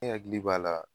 E hakili b'a la